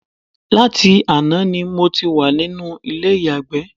Láti àná ni mo ti wà nínú ilé ìyàgbẹ́